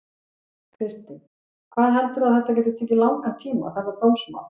Kristinn: Hvað heldurðu að þetta geti tekið langan tíma þetta dómsmál?